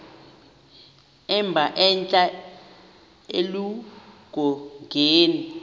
emba entla eludongeni